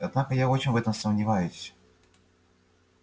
однако я очень в этом сомневаюсь